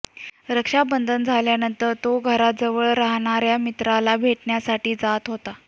रक्षाबंधन झाल्यानंतर तो घराजवळ राहणाऱ्या मित्राला भेटण्यासाठी जात होता